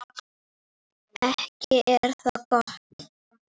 Ekki er það gott!